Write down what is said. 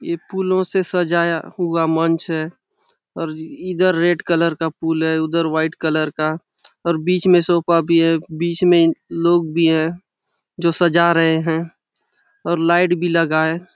ये फूलों से सजाया हुआ मंच है और इधर रेड कलर का फूल है उधर वाइट कलर का और बीच में सोफा भी है और बीच में लोग भी है जो सजा रहें हैं और लाइट भी लगा है।